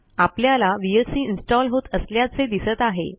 आपल्याला VLCइन्स्टॉल होत असल्याचे दिसत आहे